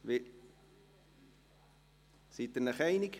Sind Sie sich einig?